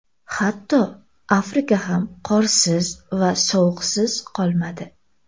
Hatto, Afrika ham qorsiz va sovuqsiz qolmadi.